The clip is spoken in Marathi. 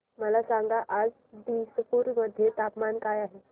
मला सांगा आज दिसपूर मध्ये तापमान काय आहे